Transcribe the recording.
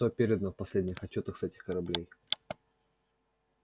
что передано в последних отчётах с этих кораблей